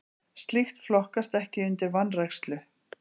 Slíkt flokkast ekki undir vanrækslu.